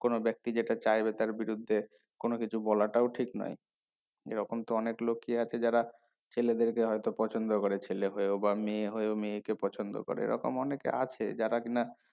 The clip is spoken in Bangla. কোনো ব্যাক্তি যেটা চাইবে তার বিরুদ্ধে কোনো কিছু বলাটাও ঠিক নয় এইরকম তো অনেক লোকই আছে যারা ছেলেদেরকে হয়তো পছন্দ করে ছেলে হয়েও বা মেয়ে হয়েও মেয়ে কে পছন্দ করে এইরকম অনেকে আছে যারা কিনা